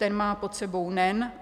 Ten má pod sebou NEN.